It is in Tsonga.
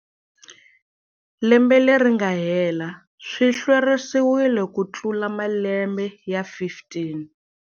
Lembe leri nga hela swi hlwerisiwile kutlula malembe ya 15.